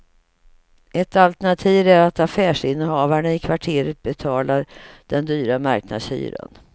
Ett alternativ är att affärsinnehavarna i kvarteret betalar den dyra marknadshyran.